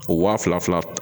O wa fila fila fila